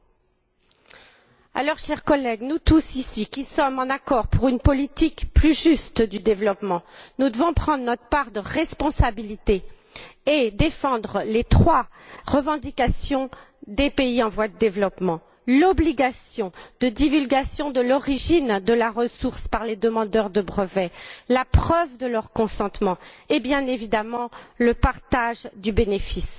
Par conséquent, chers collègues, nous tous, ici, qui sommes d'accord pour une politique plus juste du développement, devons prendre notre part de responsabilité et défendre les trois revendications des pays en voie de développement, l'obligation de divulgation de l'origine de la ressource par les demandeurs de brevets, la preuve de leur consentement et, bien évidemment, le partage du bénéfice.